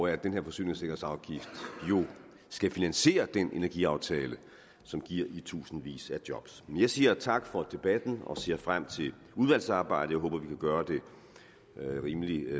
at den her forsyningssikkerhedsafgift jo skal finansiere den energiaftale som giver i tusindvis af job jeg siger tak for debatten og ser frem til udvalgsarbejdet jeg håber vi kan gøre det rimelig